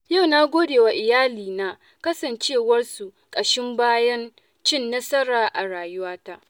Yau na godewa iyalina kasancewarsu ƙashin bayan cin nasara a rayuwata.